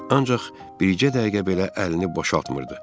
Ancaq bircə dəqiqə belə əlini boşaltmırdı.